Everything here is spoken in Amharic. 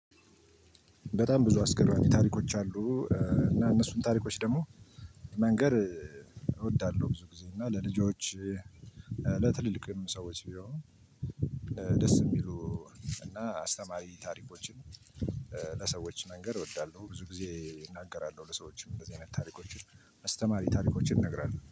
በጣም ብዙ አስገራሚ ታሪኮች አሉ እና እነሱን ታሪኮች ደግሞ መንገር እወዳለሁ ብዙ ጊዜ እና ለልጆች ለትልልቅም ሰዎች ቢሆን ደስ የሚሉ እና አስተማሪ ታሪኮችን ለሰዎች መንገር እወዳለሁ ብዙ ጊዜ እናገራለሁ ለሰዎችም እንደዚህ አይነት ታሪኮችን አስተማሪ ታሪኮችን እንነግራለው።